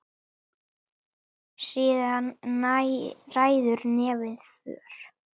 Síðan ræður nefið för.